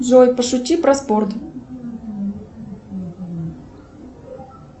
джой пошути про спорт